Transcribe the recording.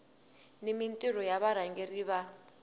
ni mintirho ya varhangeri va